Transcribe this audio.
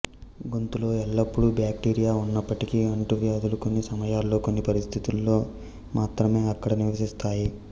గొంతులో ఎల్లప్పుడూ బ్యాక్టీరియా ఉన్నప్పటికీ అంటువ్యాధులు కొన్ని సమయాల్లో కొన్ని పరిస్థితులలో మాత్రమే అక్కడ నివసిస్తాయి